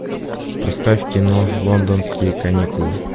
поставь кино лондонские каникулы